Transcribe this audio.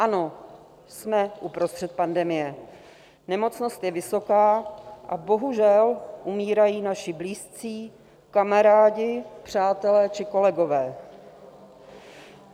Ano, jsme uprostřed pandemie, nemocnost je vysoká a bohužel umírají naši blízcí, kamarádi, přátelé či kolegové.